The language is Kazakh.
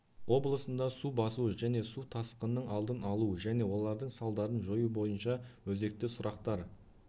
облысында су басу және су тасқының алдын алу және олардың салдарын жою бойынша өзекті сұрақтар